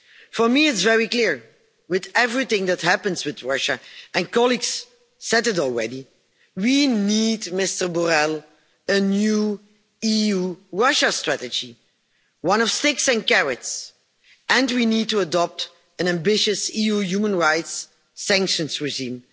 For me, it's very clear with everything that happens with Russia, and colleagues have said it already we need, Mr Borrell, a new EU Russia strategy, one of sticks and carrots and we need to adopt an ambitious EU human rights sanctions regime.